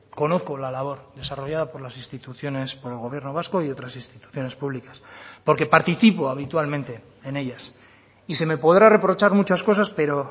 conozco la labor desarrollada por las instituciones por el gobierno vasco y otras instituciones públicas porque participo habitualmente en ellas y se me podrá reprochar muchas cosas pero